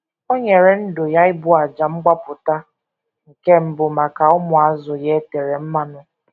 O nyere ndụ ya ịbụ àjà mgbapụta, nke mbụ maka ụmụazụ ya e tere mmanụ.